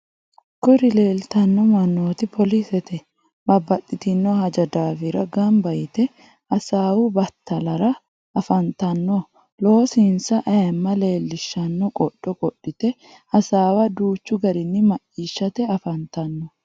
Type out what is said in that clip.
kuri leelitanno mannoti polisete. babbaxxitinno haja daafira gamba yite hasaawu batalara afantanno. loosinsa ayimma leellishanno qodho qodhite hasaawa danchu garinni macciishate afantanno.